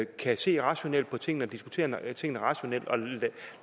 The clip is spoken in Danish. kan se rationelt på tingene og diskutere tingene rationelt og